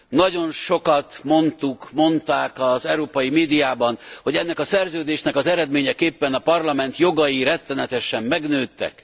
Nagyon sokat mondtuk, mondták az európai médiában, hogy ennek a Szerződésnek az eredményeképpen a Parlament jogai rettenetesen megnőttek.